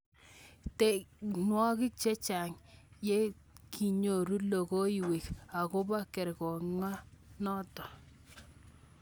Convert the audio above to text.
Tikemwowok chechang yatikenyoru logoywek akobo kerkong noto.